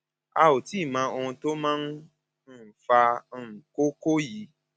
a ò tíì mọ ohun tó máa ń um fa um kókó yìí